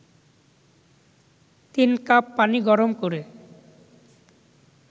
৩ cup পানি গরম করে